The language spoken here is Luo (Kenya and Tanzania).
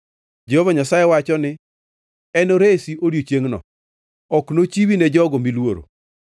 Jehova Nyasaye wacho ni enoresi odiechiengʼno, ok nochiwi ne jogo miluoro.